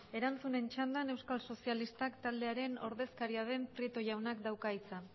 erantzunen txanda euskal sozialistak taldearen ordezkaria den prieto jaunak dauka hitza